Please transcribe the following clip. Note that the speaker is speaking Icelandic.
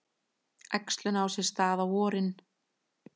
Æxlun á sér stað á vorin.